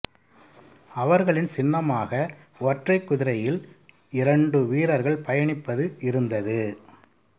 அவர்களின் சின்னமாக ஒற்றை குதிரையில் இரண்டு வீரர்கள் பயணிப்பது இருந்தது